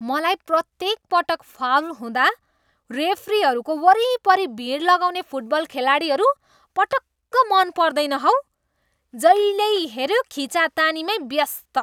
मलाई प्रत्येक पटक फाउल हुँदा रेफ्रीहरूको वरिपरि भिड लगाउने फुटबल खेलाडीहरू पटक्क मन पर्दैन हौ। जहिल्यै हेऱ्यो खिचातानीमै व्यस्त!